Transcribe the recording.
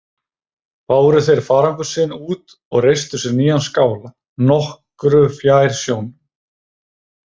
Báru þeir farangur sinn út og reistu sér nýjan skála nokkru fjær sjónum.